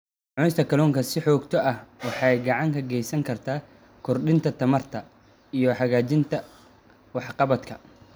Cunista kalluunka si joogto ah waxay gacan ka geysan kartaa kordhinta tamarta iyo hagaajinta waxqabadka.